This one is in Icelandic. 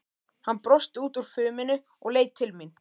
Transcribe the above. Hann brosti út úr fuminu og leit til mín.